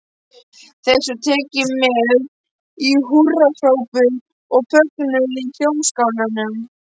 Þessu var tekið með húrrahrópum og fögnuði í Hljómskálanum.